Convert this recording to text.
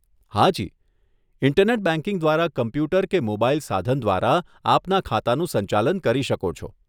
હાજી, internet banking દ્વારા computer કે મોબાઈલ સાધન દ્વારા આપના ખાતાનું સંચાલન કરી શકો છો.